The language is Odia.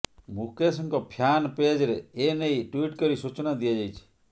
ମୁକେଶଙ୍କ ଫ୍ୟାନ୍ ପେଜ୍ ରେ ଏ ନେଇ ଟ୍ବିଟ୍ କରି ସୂଚନା ଦିଆଯାଇଛି